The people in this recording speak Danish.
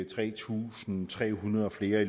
tre tusind tre hundrede flere